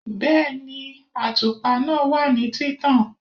Bẹ́ẹ̀ni, àtùpà náà wà ní títàn